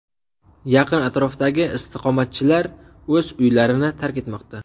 Yaqin atrofdagi istiqomatchilar o‘z uylarini tark etmoqda.